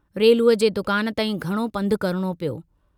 रेलूअ जे दुकान तांईं घणो पंधु करणो पियो।